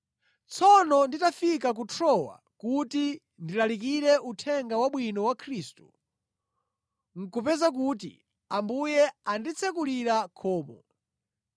Tsono nditafika ku Trowa kuti ndilalikire Uthenga Wabwino wa Khristu, nʼkupeza kuti Ambuye anditsekulira khomo,